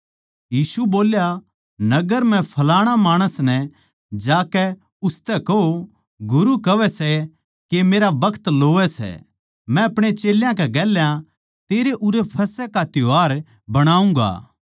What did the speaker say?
यीशु बोल्या नगर म्ह फलाणा माणस नै जाकै उसतै कहो गुरू कहवै सै के मेरा बखत लोवै सै मै अपणे चेल्यां कै गेल्या तेरै उरै फसह का त्यौहार बणाऊँगा